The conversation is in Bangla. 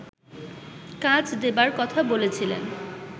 কাজ দেবার কথা বলেছিলেন